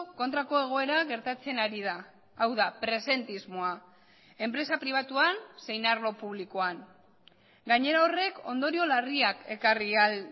kontrako egoera gertatzen ari da hau da presentismoa enpresa pribatuan zein arlo publikoan gainera horrek ondorio larriak ekarri ahal